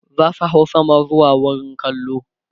zasu hau sama zuwa wurin kallo